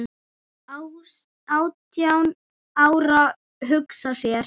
Átján ára, hugsa sér!